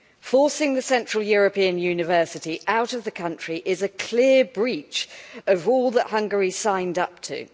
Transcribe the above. Forcing the Central European University out of the country is a clear breach of all that Hungary signed up to.